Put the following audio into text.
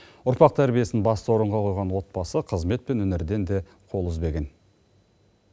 ұрпақ тәрбиесін басты орынға қойған отбасы қызмет пен өнерден де қол үзбеген